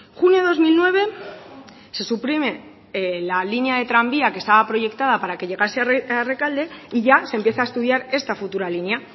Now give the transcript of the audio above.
junio de dos mil nueve se suprime la línea de tranvía que estaba proyectada para que llegase a rekalde y ya se empieza a estudiar esta futura línea